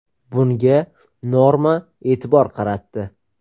Bunga Norma e’tibor qaratdi .